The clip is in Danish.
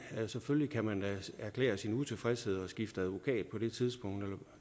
selvfølgelig erklære sin utilfredshed og skifte advokat på det tidspunkt eller